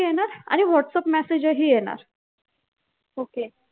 आणि whatsapp message ही येणार